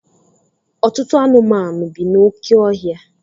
Ọtụtụ anụmanụ bi n'oké ọhịa.